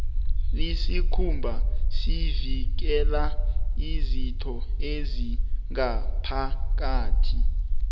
isikhumba sivikela izitho ezingaphakathi